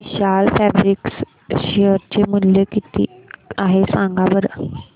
विशाल fabrics share चे मूल्य किती आहे सांगा बरं